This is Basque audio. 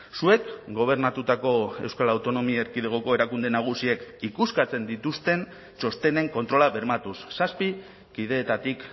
zuek gobernatutako euskal autonomia erkidegoko erakunde nagusiek ikuskatzen dituzten txostenen kontrola bermatuz zazpi kideetatik